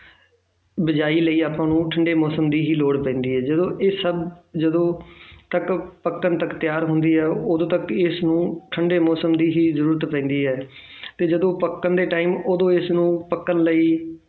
ਬੀਜਾਈ ਲਈ ਆਪਾਂ ਨੂੰ ਠੰਢੇ ਮੌਸਮ ਦੀ ਹੀ ਲੋੜ ਪੈਂਦੀ ਹੈ ਜਦੋਂ ਇਹ ਸਭ ਜਦੋਂ ਤੱਕ ਪੱਕਣ ਤੱਕ ਤਿਆਰ ਹੁੰਦੀ ਹੈ, ਉਦੋਂ ਤੱਕ ਇਸ ਨੂੰ ਠੰਢੇ ਮੌਸਮ ਦੀ ਹੀ ਜ਼ਰੂਰਤ ਪੈਂਦੀ ਹੈ ਤੇ ਜਦੋਂ ਪੱਕਣ ਦੇ time ਉਦੋਂ ਇਸ ਨੂੰ ਪੱਕਣ ਲਈ